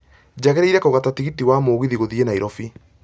njagĩrĩire kũgata tigiti wa mũgithi gũthiĩ nairobi